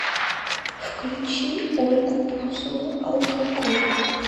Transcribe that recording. включи ольгу бузову алкоголь